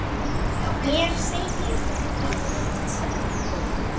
Mér segir hún allt